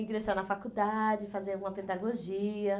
Ingressar na faculdade, fazer alguma pedagogia.